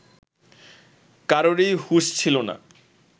কারোরই হুঁশ ছিল না